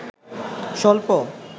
সল্প